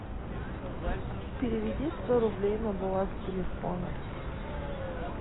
переведи сто рублей на баланс телефона